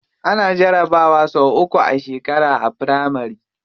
Ana jarabawa sau uku a shekara a firamari.